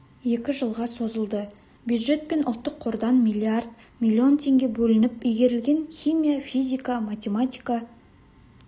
екі жылға созылды бюджет пен ұлттық қордан миллиард миллион теңге бөлініп игерілген химия физика математика